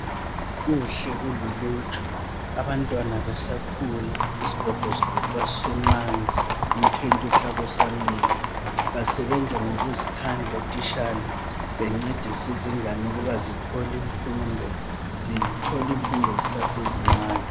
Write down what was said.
Kuhle kululuju. Abantwana besakhula, isigogo sigoqwa sisemanzi, umthwentwe uhlaba usamila. Basebenza ngokuzikhandla otishala bencedisa izingane ukuba zithole imfundo zisezincane.